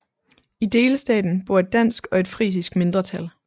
I delstaten bor et dansk og et frisisk mindretal